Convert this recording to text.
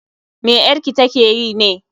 me 'yarki ta ke yi ne?